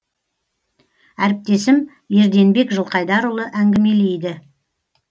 әріптесім ерденбек жылқайдарұлы әңгімелейді